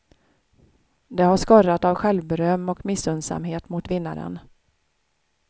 Det har skorrat av självberöm och missunnsamhet mot vinnaren.